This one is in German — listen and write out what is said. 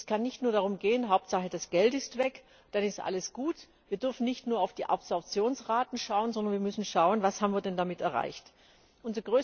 Es kann nicht nur darum gehen Hauptsache das Geld ist weg, dann ist alles gut. Wir dürfen nicht nur auf die Absorptionsraten schauen, sondern wir müssen schauen, was wir damit erreicht haben!